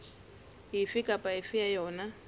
efe kapa efe ya yona